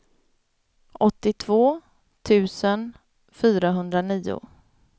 åttiotvå tusen fyrahundranio